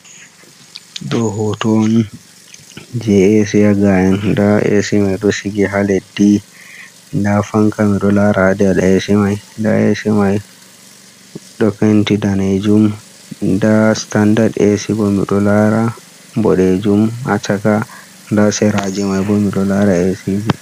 Ɗo hoto on je jesa A'c, nda A'c man sigi ha leɗdi nda fanka miɗo Lara ha nder A'c man, ɗow Penti danejum nda standard A'c bo mido lara boɗejum ha chaka nda sera manbo miɗo Lara A'c ji.